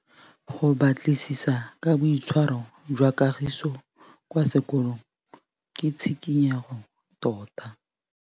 Go batlisisa ka boitshwaro jwa Kagiso kwa sekolong ke tshikinyêgô tota.